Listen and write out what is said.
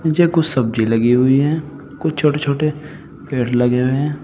नीचे कुछ सब्जी लगी हुई हैं कुछ छोटे छोटे पेड़ लगे हुए हैं।